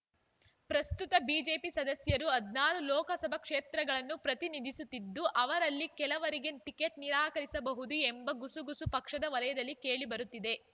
ಪ್ರಸ್ತುತ ಬಿಜೆಪಿ ಸದಸ್ಯರು ಹದ್ ನಾರು ಲೋಕಸಭಾ ಕ್ಷೇತ್ರಗಳನ್ನು ಪ್ರತಿನಿಧಿಸುತ್ತಿದ್ದು ಅವರಲ್ಲಿ ಕೆಲವರಿಗೆ ಟಿಕೆಟ್ ನಿರಾಕರಿಸಬಹುದು ಎಂಬ ಗುಸುಗುಸು ಪಕ್ಷದ ವಲಯದಲ್ಲಿ ಕೇಳಿಬರುತ್ತಿದೆ